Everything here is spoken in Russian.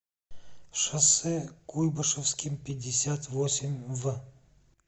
шоссе куйбышевским пятьдесят восемь в